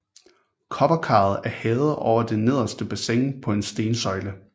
Kobberkaret er hævet over det nederste bassin på en stensøjle